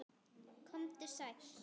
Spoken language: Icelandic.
Komdu sæll.